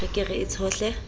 re ke re e tshohle